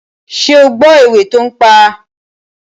Ṣé ó gbọ́ òwe tó ń pa?